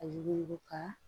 A yugu ka